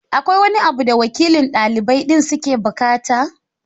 Akwai wani abu da wakilan ɗalibai din suke buƙata?